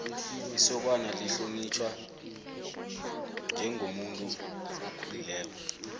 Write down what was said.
isokana lihlonitjhwa njengomuntu okhulileko